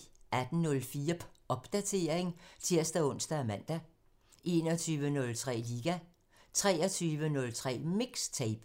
18:04: Popdatering (tir-ons og man) 21:03: Liga 23:03: MIXTAPE